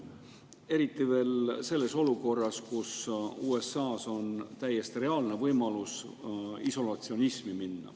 Eriti veel olukorras, kus on täiesti reaalne võimalus, et USA läheb isolatsionismi.